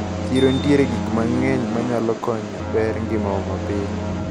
Chiro nitiere gi gikmang`eny manyalo konyo bero ngimawa mapile.